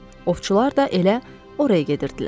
Ovçular da elə oraya gedirdilər.